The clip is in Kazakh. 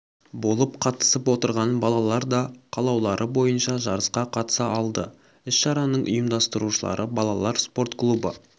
болып қатысып отырған балалар да қалаулары бойынша жарысқа қатыса алды іс-шараның ұйымдастырушылары балалар спорт клубы